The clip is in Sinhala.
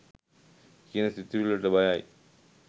කියන සිතුවිල්ලට බයයි.